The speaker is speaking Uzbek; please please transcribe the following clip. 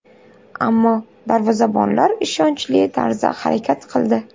Ammo darvozabonlar ishonchli tarzda harakat qildi.